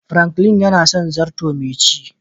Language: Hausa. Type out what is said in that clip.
"Franklin" yana son zarto mai ci.